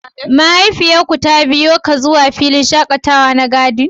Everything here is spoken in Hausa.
Mahaifiyar ku ta biyo ka zuwa filin shakatawa na " garden"?